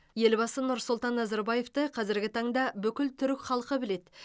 елбасы нұрсұлтан назарбаевты қазіргі таңда бүкіл түрік халқы біледі